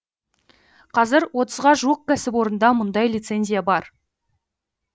қазір отызға жуық кәсіпорында мұндай лицензия бар